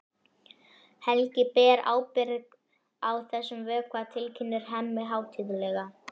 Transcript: Helgi ber ábyrgð á þessum vökva, tilkynnir Hemmi hátíðlega.